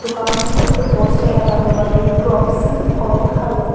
दुकानों के ऊपर पोस्टर लगा हुआ है क्रापसन और हैवेल्स ।